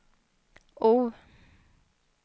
O